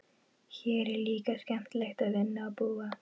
Hér er líka skemmtilegt að vinna og búa.